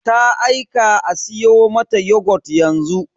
Ta aika a siyo mata yogut yanzu.